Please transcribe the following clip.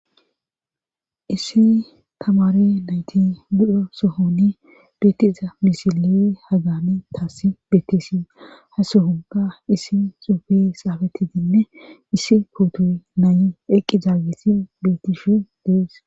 issi kamare nayti budro sohoni bittiza misili hagani taassi bettisi ha sohonga issi suufi xaafetidinne issi puutuy naayi eqqi zaagisin bettishu dees